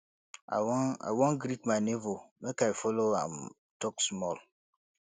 i wan i wan greet my nebor make i folo am tok small